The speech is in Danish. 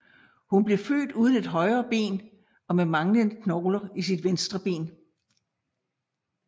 Hun blev født uden et højre ben og med manglende knogler i sit venstre ben